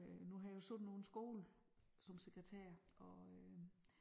Øh nu har jeg jo siddet på en skole som sekretær og øh